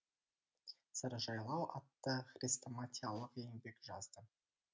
саржайлау атты хрестоматиялық еңбек жазды